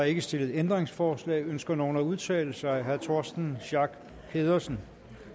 ikke stillet ændringsforslag ønsker nogen at udtale sig herre torsten schack pedersen